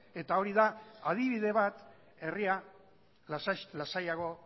eta hori da adibide bat herria lasaiago